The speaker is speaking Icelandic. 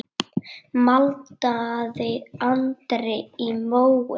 maldaði Andri í móinn.